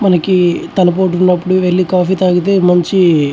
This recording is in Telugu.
మనకి తలపోటు ఉన్నపుడు వెళ్లి కాఫీ తాగితే మంచి --